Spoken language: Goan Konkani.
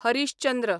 हरीश चंद्र